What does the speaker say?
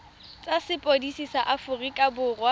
tsa sepodisi sa aforika borwa